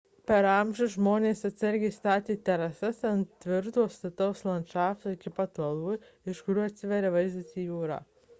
per amžius žmonės atsargiai statė terasas ant tvirto stataus landšafto iki pat uolų iš kurių atsiveria vaizdas į jūrą